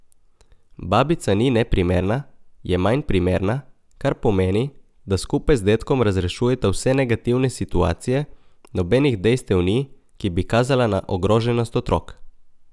Babica ni neprimerna, je manj primerna, kar pomeni, da skupaj z dedkom razrešujeta vse negativne situacije, nobenih dejstev ni, ki bi kazala na ogroženost otrok.